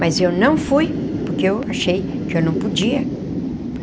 Mas eu não fui, porque eu achei que eu não podia.